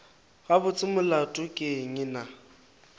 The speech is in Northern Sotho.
gabotse molato ke eng na